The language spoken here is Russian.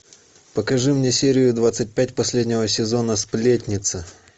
покажи мне серию двадцать пять последнего сезона сплетница